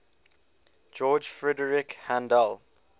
george frideric handel